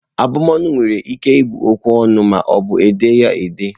Ịbụ ọnụ were ike ịbụ okwu ọnụ ma ọbụ e dee ya ede.